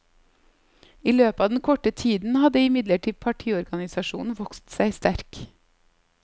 I løpet av den korte tiden hadde imidlertid partiorganisasjonen vokst seg sterk.